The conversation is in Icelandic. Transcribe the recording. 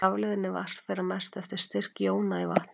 Rafleiðni vatns fer að mestu eftir styrk jóna í vatninu.